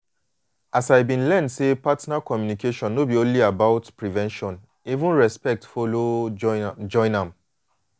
as i been learn say partner communication no be only about prevention even respect follow join am. join am.